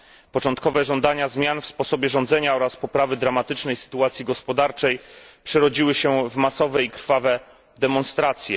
Początkowe żądania zmian w sposobie rządzenia oraz poprawy dramatycznej sytuacji gospodarczej przerodziły się w masowe i krwawe demonstracje.